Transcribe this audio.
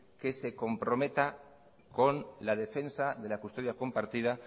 que se comprometa con la defensa de la custodia compartida